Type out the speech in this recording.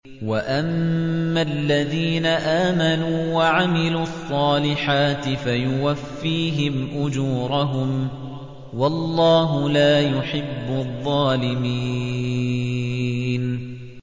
وَأَمَّا الَّذِينَ آمَنُوا وَعَمِلُوا الصَّالِحَاتِ فَيُوَفِّيهِمْ أُجُورَهُمْ ۗ وَاللَّهُ لَا يُحِبُّ الظَّالِمِينَ